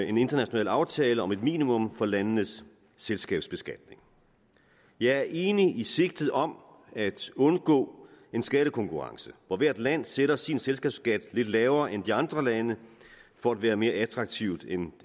en international aftale om et minimum for landenes selskabsbeskatning jeg er enig i sigtet om at undgå en skattekonkurrence hvor hvert land sætter sin selskabsskat lidt lavere end de andre lande for at være mere attraktiv end